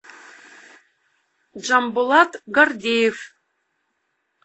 джамбулат гордеев